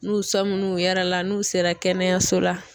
N'u sɔminn'u yɛrɛ la n'u sera kɛnɛyaso la